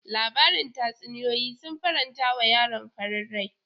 Labarin tatsuniyoyi sun faranta wa yaron farin rai.